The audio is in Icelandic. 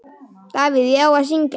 Davíð: Já, að syngja.